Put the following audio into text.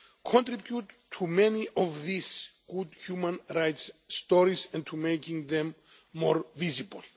has contributed to many of these good human rights stories' and for making them more visible.